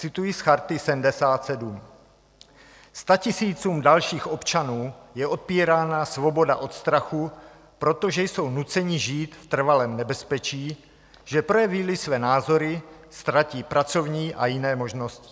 Cituji z Charty 77: "Statisícům dalších občanů je odpírána svoboda od strachu, protože jsou nuceni žít v trvalém nebezpečí, že projeví-li své názory, ztratí pracovní a jiné možnosti.